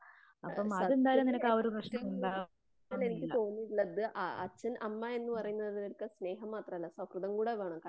സത്യത്തില് ഏറ്റവും കൂടുതൽ എനിക്ക് തോന്നിയിട്ടുള്ളത് ആ അച്ഛൻ അമ്മ എന്ന് പറയുന്നത് സ്നേഹം മാത്രമല്ല സൗഹൃദം കൂടി വേണം.